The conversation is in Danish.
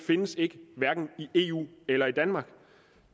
findes ikke hverken i eu eller i danmark